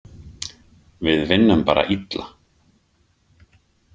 Við vinnum bara illa.